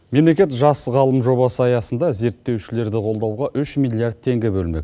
мемлекет жас ғалым жобасы аясында зерттеушілерді қолдауға үш миллиард теңге бөлмек